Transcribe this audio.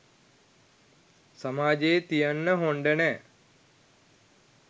සමජයේ තියන්න හොන්ඩ නෑ.